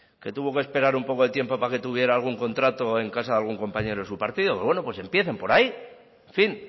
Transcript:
que tuvo que esperar un poco de tiempo para que tuviera algún contrato en casa de algún compañero de su partido pues bueno pues empiecen por ahí en fin